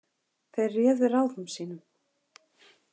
Þeir réðu ráðum sínum.